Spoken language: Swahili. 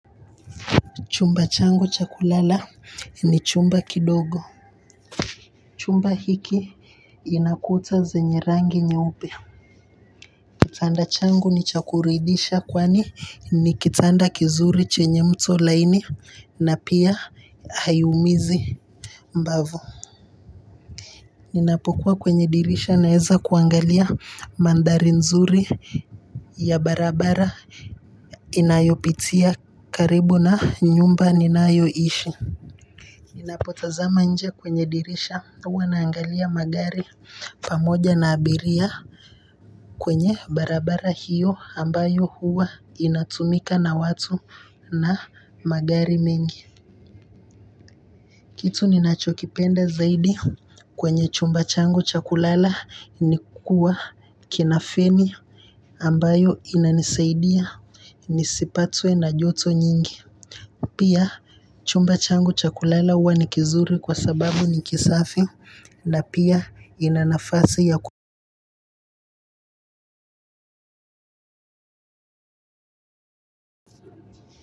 Chumba changu cha kulala ni chumba kidogo chumba hiki ina kuta zenye rangi nyeupe kitanda changu nicha kuridisha kwani ni kitanda kizuri chenye mto laini na pia haiumizi mbavu. Ninapokuwa kwenye dirisha naeza kuangalia mandhari nzuri ya barabara inayopitia karibu na nyumba ninayoishi ninapotazama nje kwenye dirisha huwa naangalia magari pamoja na abiria kwenye barabara hio ambayo huwa inatumika na watu na magari mengi kitu ninachokipenda zaidi kwenye chumba changu chakulala nikuwa kina feni ambayo inanisaidia nisipatwe na joto nyingi pia chumba changu chakulala huwa ni kizuri kwa sababu ni kisafi na pia inanafasi ya kuwa.